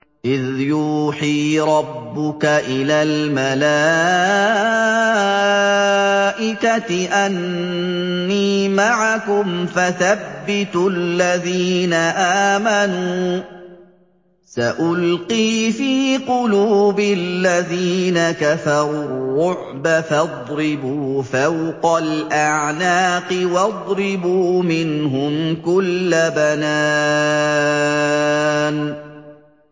إِذْ يُوحِي رَبُّكَ إِلَى الْمَلَائِكَةِ أَنِّي مَعَكُمْ فَثَبِّتُوا الَّذِينَ آمَنُوا ۚ سَأُلْقِي فِي قُلُوبِ الَّذِينَ كَفَرُوا الرُّعْبَ فَاضْرِبُوا فَوْقَ الْأَعْنَاقِ وَاضْرِبُوا مِنْهُمْ كُلَّ بَنَانٍ